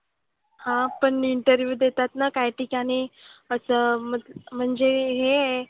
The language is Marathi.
हां पण interview देतात ना काही ठिकाणी असं मग म्हणजे हे आहे.